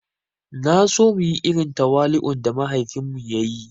Naso muyi irin tawali'un da mahaifin mu ya yi